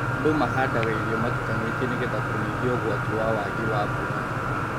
Andũ mahandaga irio matukanĩtie nĩgetha kũnyihia ũgwati wa waagi wa mbura